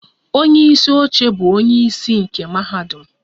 Onye isi oche bụ onye isi nke mahadum.